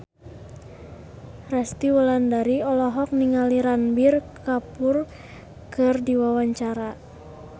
Resty Wulandari olohok ningali Ranbir Kapoor keur diwawancara